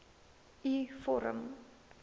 u vorm